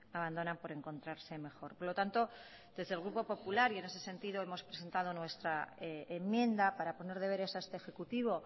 abandonan por encontrarse mejor por lo tanto desde el grupo popular y en ese sentido hemos presentado nuestra enmienda para poner deberes a este ejecutivo